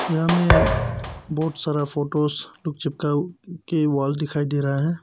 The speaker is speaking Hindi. यहां में बहोत सारा फोटोस चिपका के वॉल दिखाई दे रहा है।